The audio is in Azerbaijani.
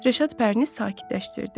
Rəşad Pərini sakitləşdirdi.